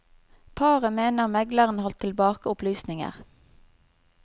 Paret mener megleren holdt tilbake opplysninger.